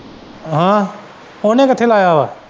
ਆਹ ਉਹਨੇ ਕਿੱਥੇ ਲਾਇਆ ਵਾਂ।